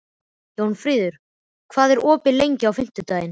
Jónfríður, hvað er opið lengi á fimmtudaginn?